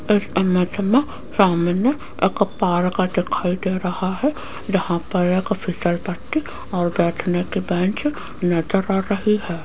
इस इमेज में सामने एक पार्क दिखाई दे रहा है जहां पर एक फिसल पट्टी और बैठने की बेंच नजर आ रही है।